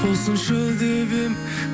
болсыншы деп едім